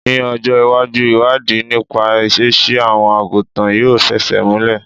Ní ọjọ́ ìwájú, ìwádìí nípa ìṣesí àwọn àgùntàn yóò fẹsẹ̀ múlè.